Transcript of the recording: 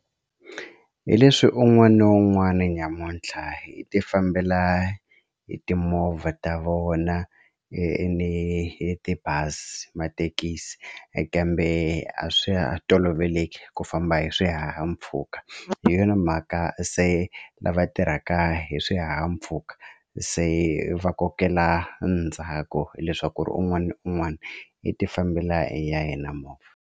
Hi leswi un'wana na un'wana nyamuntlha hi tifambela hi timovha ta vona ni tibazi mathekisi kambe a swi toloveleke ku famba hi swihahampfhuka hi yona mhaka se lava tirhaka hi swihahampfhuka se va kokela ndzhaku hileswaku un'wana na un'wana i tifambela hi ya hina movha.